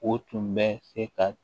O tun bɛ se ka